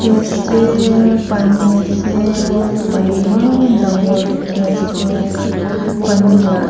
ase pani ase pani eman dagur dekhi ase pani laga--